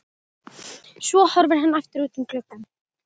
Svo horfir hann aftur út um gluggann.